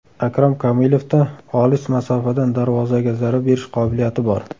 Akrom Komilovda olis masofadan darvozaga zarba berish qobiliyati bor.